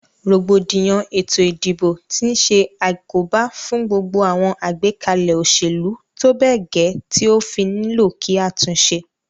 Rògbòdìyàn ètò ìdìbò ti se àkóbá fún gbogbo àwon àgbékalè òsèlú tóbè gè ti ó fí nílò kí a túnse